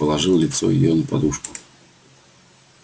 положил лицо её на подушку